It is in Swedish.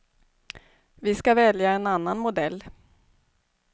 Vi ska välja en annan modell.